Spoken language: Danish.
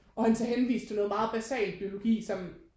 Og han så henviste til noget meget basalt biologi som